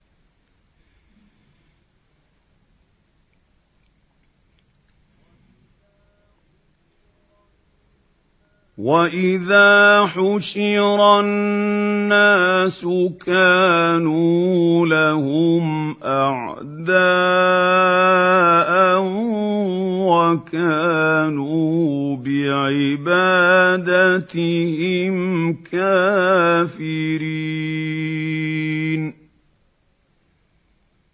وَإِذَا حُشِرَ النَّاسُ كَانُوا لَهُمْ أَعْدَاءً وَكَانُوا بِعِبَادَتِهِمْ كَافِرِينَ